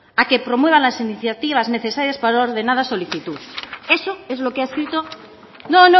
a que promueva las iniciativas necesarias para la ordenada solicitud eso es lo que ha escrito no